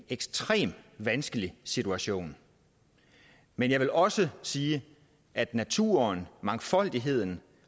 ekstrem vanskelig situation men jeg vil også sige at naturen og mangfoldigheden